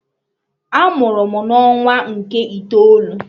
A mụrụ m na ọnwa nke itoolu